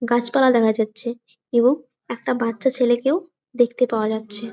গাছ পালা দেখা যাচ্ছে এবং একটা বচ্চা ছেলেকেও দেখতে পাওয়া যাচ্ছে ।